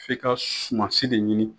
F'i ka sumasi de ɲini.